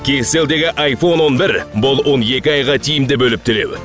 кейселдегі айфон он бір бұл он екі айға тиімді бөліп төлеу